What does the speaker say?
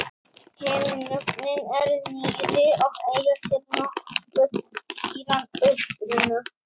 Hin nöfnin eru nýrri og eiga sér nokkuð skýran uppruna.